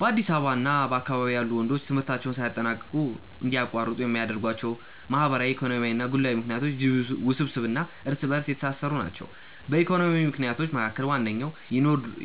በአዲስ አበባ እና በአካባቢዋ ያሉ ወንዶች ትምህርታቸውን ሳያጠናቅቁ እንዲያቋርጡ የሚያደርጓቸው ማህበራዊ፣ ኢኮኖሚያዊ እና ግላዊ ምክንያቶች እጅግ ውስብስብ እና እርስ በእርስ የተሳሰሩ ናቸው። ከኢኮኖሚ ምክንያቶች መካከል ዋነኛው